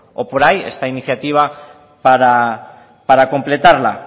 o por ahí esta iniciativa para completarla